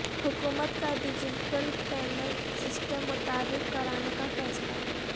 حکومت کا digital payment system متعارف کرانے کا فیصلہ